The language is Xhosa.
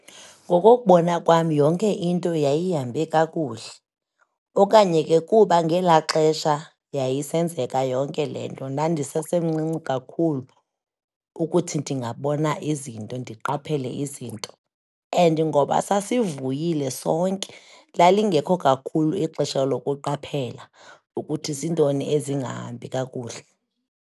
Ngokokubona kwam yonke into yayihambe kakuhle, okanye ke kuba ngela xesha yayisenzeka yonke le nto ndandisesemncinci kakhulu ukuthi ndingabona izinto, ndiqaphele izinto. And ngoba sasivuyile sonke, lalingekho kakhulu ixesha lokuqaphela ukuthi zintoni ezingahambi kakuhle.